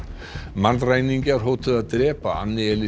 mannræningjar hótuðu að drepa